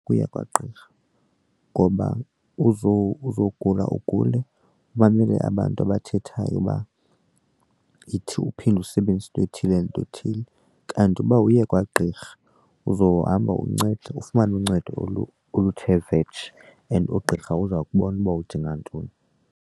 Uye kwagqirha ngoba uzogula ugule umamele abantu abathethayo uba yithi, uphinde usebenzise into ethile nento ethile kanti uba uye kwagqirha uzohamba uncedwe ufumane uncedo oluthe vetshe and ugqirha uza kubona uba udinga ntoni.